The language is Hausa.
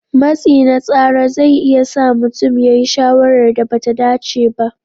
Matsi na tsara zai iya sa mutum ya yi shawarar da ba ta dace ba.